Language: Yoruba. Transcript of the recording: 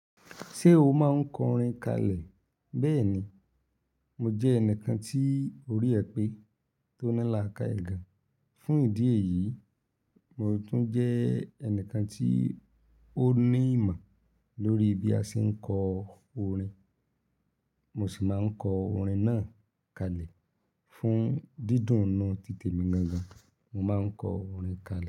Ṣé o máa ń kọ orin kalẹ̀? Bẹ́ẹ̀ ni, mo jẹ́ ẹnìkan tí orí ẹ pé tó ní làkái gàn. Fún ìdí èyí, mo tún jẹ́ ẹnìkan tí ó ní ìmọ̀ lórí bí a ṣe ń kọ orin. Mo sì máa ń kọ orin náà kalẹ̀ fún dídùn inu ti tèmi gan gan. Mo máa ń kọ orin ka le.